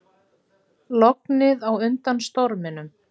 Lognið á undan storminum